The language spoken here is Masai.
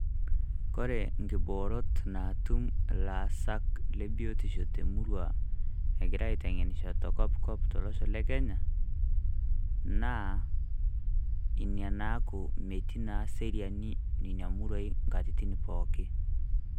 Kore nkiboorot naatum llaasak le biotisho te murrrua egira aiteng'enisho te kopkop tolosho le Kenya, naa enia naaku metii na seriani nenia murrua nkatitin pooki.